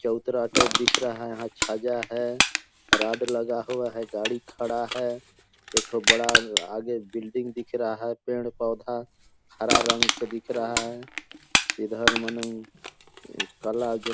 चबूतरा टाइप दिख रहा है यहाँ छजा है रॉड लगा हुआ है गाड़ी खड़ा है एकठो बड़ा अ-आगे बिल्डिंग दिख रहा है पेड़-पौधा हरा रंग के दिख रहा है इधर मने कला जो --